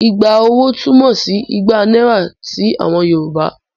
Igba owó' túmọ̀ sí igba náírà sí àwọn Yorùbá.